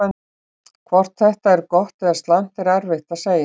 Hvort þetta er gott eða slæmt er erfitt að segja.